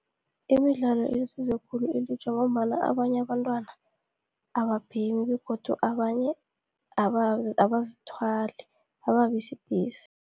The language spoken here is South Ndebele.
Imidlalo ilisizo khulu elutjha ngombana abanye abantwana ababhemi, begodu abanye abazithwali, ababisidisi.